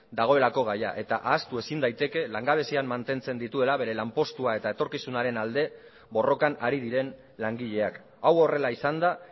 dagoelako gaia eta ahaztu ezin daiteke langabezian mantentzen dituela bere lanpostua eta etorkizunaren alde borrokan ari diren langileak hau horrela izanda